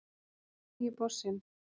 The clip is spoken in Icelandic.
Hver er nýi bossinn